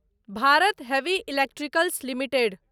Bharat heavy electricals limited